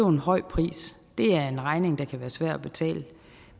en høj pris det er en regning der kan være svær at betale